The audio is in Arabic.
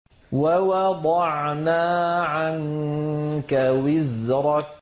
وَوَضَعْنَا عَنكَ وِزْرَكَ